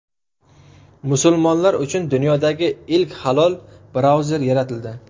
Musulmonlar uchun dunyodagi ilk halol brauzer yaratildi.